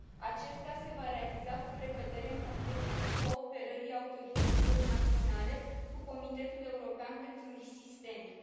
Acesta se va realiza cu precădere în contextul cooperării autorităților naționale cu Comitetul european pentru risc sistemic.